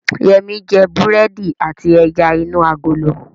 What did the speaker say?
Yẹmí jẹ búrẹ́dì àti ẹja inú agolo